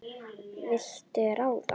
Þú vilt ráða.